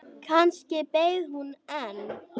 Kannski beið hún enn.